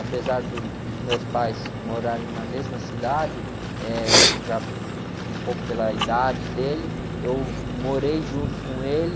Apesar do, dos meus pais morarem na mesma cidade, eh, já um, um pouco pela idade dele, eu morei junto com ele.